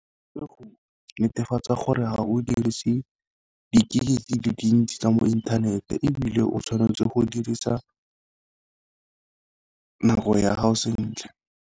Ke go netefatsa gore ga o dirise di-gig di le dintsi tsa mo inthanete, ebile o tshwanetse go dirisa nako ya gago sentle.